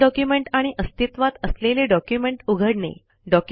नवीन document आणि अस्तित्वात असलेले डॉक्युमेंट उघडणे